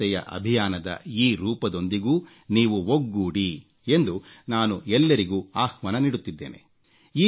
ಸ್ವಚ್ಛತೆಯ ಅಭಿಯಾನದ ಈ ರೂಪದೊಂದಿಗೂ ನೀವು ಒಗ್ಗೂಡಿ ಎಂದು ನಾನು ಎಲ್ಲರಿಗೂ ಆಹ್ವಾನ ನೀಡುತ್ತಿದ್ದೇನೆ